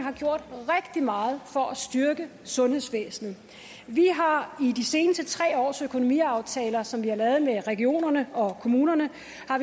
det meget for at styrke sundhedsvæsenet vi har i de seneste tre års økonomiaftaler som vi har lavet med regionerne og kommunerne